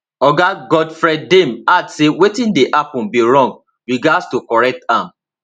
oga godfred dame add say wetin dey happun be wrong we gatz to correct am